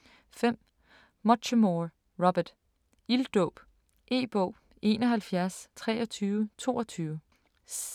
5. Muchamore, Robert: Ilddåb E-bog 712322